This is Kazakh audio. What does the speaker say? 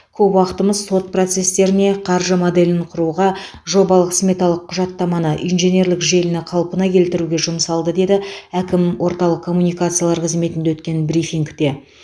көп уақытымыз сот процестеріне қаржы моделін құруға жобалық сметалық құжаттаманы инженерлік желіні қалпына келтіруге жұмсалды деді әкім орталық коммуникациялар қызметінде өткен брифингте